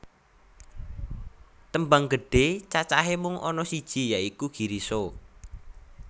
Tembang gedhe cacahe mung ana siji ya iku Girisa